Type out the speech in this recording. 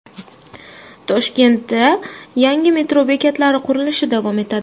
Toshkentda yangi metro bekatlari qurilishi davom etadi .